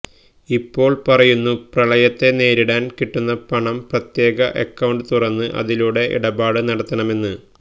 ഇപ്പോള് പറയുന്നു പ്രളയത്തെ നേരിടാന് കിട്ടുന്ന പണം പ്രത്യേക അക്കൌണ്ട് തുറന്ന് അതിലൂടെ ഇടപാട് നടത്തണമെന്ന്